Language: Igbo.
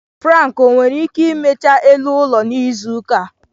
Frank owere ike imecha elu ụlọ n'izu ụka a?